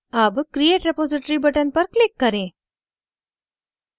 अब create repository button पर click करें